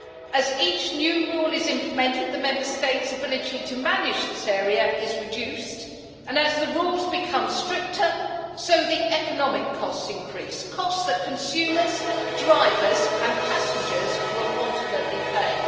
As each new rule is implemented the Member States' ability to manage this area is reduced, and as the rules become stricter so the economic costs increase, costs that consumers, drivers and passengers will ultimately pay.